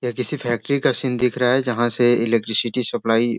यह किसी फैक्‍ट्री का सीन दिख रहा है जहाँ से इलेक्ट्रिसिटी सप्‍लाई --